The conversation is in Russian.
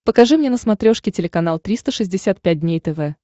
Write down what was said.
покажи мне на смотрешке телеканал триста шестьдесят пять дней тв